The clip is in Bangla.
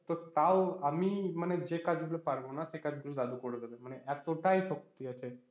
তো তাও আমি মানে যে কাজগুলো পারবো না সেকাজগুলো দাদু করে দেবে মানে এতটাই শক্তি আছে।